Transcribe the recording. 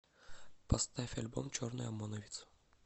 поставь альбом черный омоновец